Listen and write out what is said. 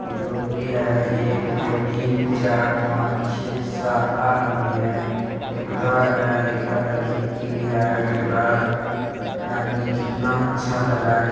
ये लोग भी हैं। एक दो तीन चार पाँच छे सात आठ आदमी हैं। एक उधर है एक इधर है। खिड़की भी है उसके बाद। ये आदमी कितना अच्छा लग रहा है कि --